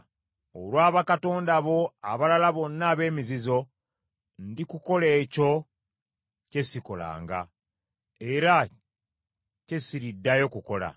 Olwa bakatonda bo abalala bonna ab’emizizo, ndikukola ekyo kye sikolanga, era kye siriddayo kukola.